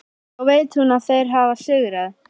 Þá veit hún að þeir hafa sigrað.